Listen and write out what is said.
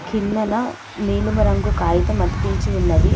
కిందన నీలిమ రంగు కాగితం అతికించి ఉన్నది.